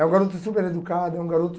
É um garoto super educado, é um garoto...